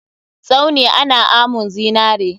Tsauni ana amun zinare.